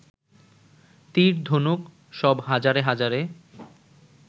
তীর, ধনুক সব হাজারে হাজারে